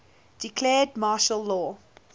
declared martial law